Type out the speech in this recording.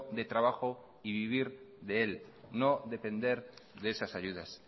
de trabajo y vivir de él no depender de esas ayudas